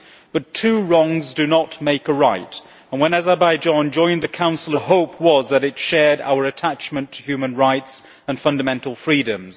But two wrongs do not make a right, and when Azerbaijan joined the Council of Europe our hope was that it shared our attachment to human rights and fundamental freedoms.